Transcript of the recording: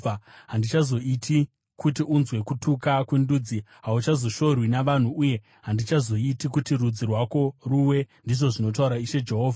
Handichazoiti kuti unzwe kutuka kwendudzi, hauchazoshorwi navanhu uye handichazoiti kuti rudzi rwako ruwe, ndizvo zvinotaura Ishe Jehovha.’ ”